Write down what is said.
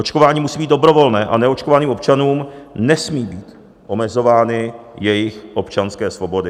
Očkování musí být dobrovolné a neočkovaným občanům nesmí být omezovány jejich občanské svobody.